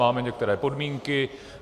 Máme některé podmínky.